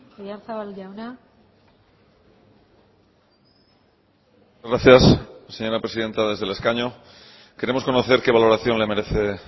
oyarzabal jauna gracias señora presidenta desde el escaño queremos conocer qué valoración le merece